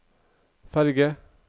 ferge